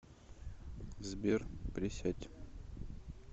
сбер присядь